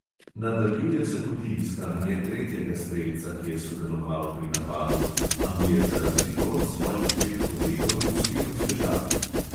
Nadaljuje se tudi iskanje tretjega strelca, ki je sodeloval pri napadu, a mu je za razliko od svojih dveh kolegov uspelo zbežati.